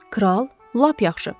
Kral, lap yaxşı.